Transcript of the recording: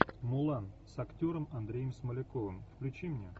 мулан с актером андреем смоляковым включи мне